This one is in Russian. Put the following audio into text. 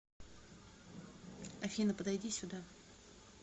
афина подойди сюда